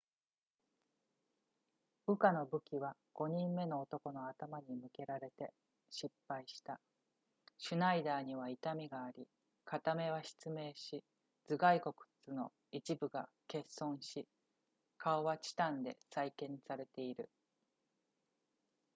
ウカの武器は5人目の男の頭に向けられて失敗したシュナイダーには痛みがあり片目は失明し頭蓋骨の一部が欠損し顔はチタンで再建されている